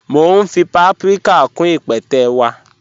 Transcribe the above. Mọ̀ n fí pàpríkà kún ípẹ̀tẹ́ wa.